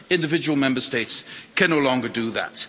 Individual Member States can no longer do that.